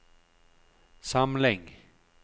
samling